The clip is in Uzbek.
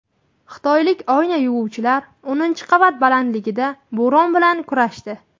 Xitoylik oyna yuvuvchilar o‘ninchi qavat balandligida bo‘ron bilan kurashdi .